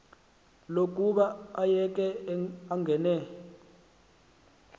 lokuba ayeke angene